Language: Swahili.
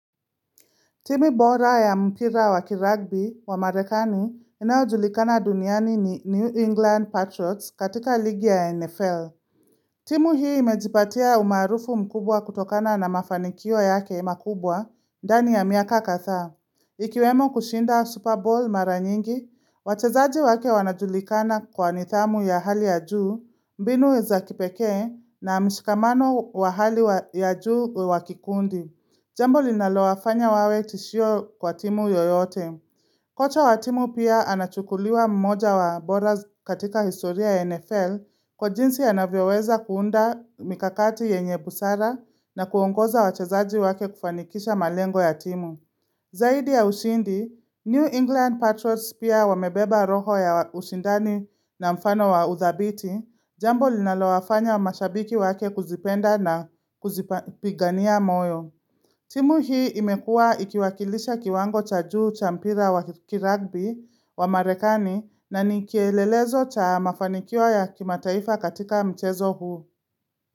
Timu bora ya mpira wa kiragbi wa marekani inayojulikana duniani ni New England Patriots katika ligi ya NFL. Timu hii imejipatia umaarufu mkubwa kutokana na mafanikio yake imakubwa, ndani ya miaka kadhaa. Ikiwemo kushinda Super Bowl mara nyingi, wachezaji wake wanajulikana kwa nidhamu ya hali ya juu, mbinu weza kipekee na mshikamano wa hali ya juu wakikundi. Jambo linalowafanya wawe tishio kwa timu yoyote. Kocha wa timu pia anachukuliwa mmoja wa bora katika historia NFL kwa jinsi anavyoweza kuunda mikakati yenye busara na kuongoza wachazaji wake kufanikisha malengo ya timu. Zaidi ya ushindi, New England Patriots pia wamebeba roho ya ushindani na mfano wa uthabiti. Jambo linalowafanya wa mashabiki wake kuzipenda na kuzipigania moyo. Timu hii imekua ikiwakilisha kiwango cha juu cha mpira wa kiragbi wa marekani na nikielelezo cha mafanikio ya kimataifa katika mchezo huu.